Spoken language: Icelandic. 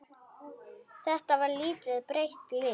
Þetta var lítið breytt lið?